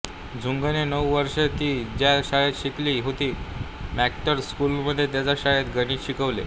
झुंगने नऊ वर्षे ति ज्या शाळेत शिकली होती मॅक्टायर स्कूलमध्ये त्याच शाळेत गणित शिकवले